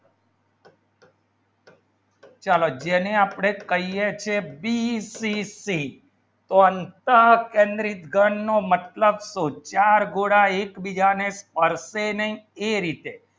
ચાલો જેને આપણે કહીએ છે ચાર ગુના એક બીજાને પરસે નહીં એ રીતે